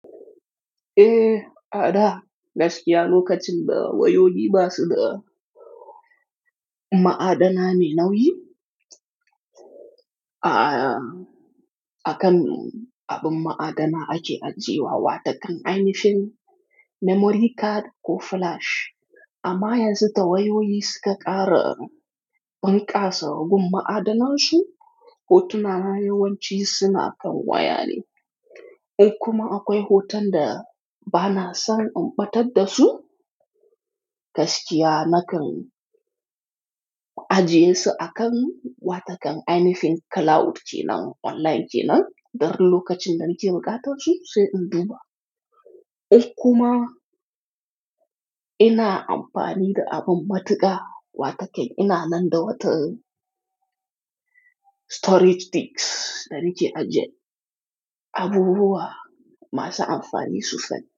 Eh, a da gaskiya lokacin da wayoyi ba su da ma'adana mai nauyi. A kan abin ma'adana ake ajiyewa wata kan ainifin memory card ko flash. Amma yanzu da wayoyi suka ƙara bunƙasa gun ma'adanan su, hotuna na yawanci suna kan waya ne. In kuma akwai hoton da ba na son in ɓatar da su, gaskiya nakan ajiye su a kan watakan ainifin cloud kenan, online kenan. Darin lokacin da nake buƙata su sai in duba. In kuma ina amfani da abin matuƙa wata kai ina nan da wata storage sticks dan nake ajiye abubuwa masu amfani sufan.